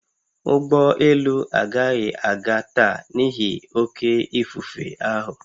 Ụgbọ elu agaghị aga taa n'ihi oké ifufe ahụ